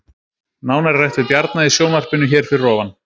Nánar er rætt við Bjarna í sjónvarpinu hér fyrir ofan